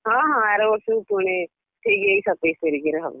ହଁ ହଁ ଆର ବର୍ଷ କୁ ପୁଣି ଠିକ୍ ଏଇ ସତେଇଶି ତାରିଖରେ ହବ।